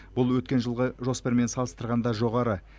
бұл өткен жылғы жоспармен салыстырғанда жоғары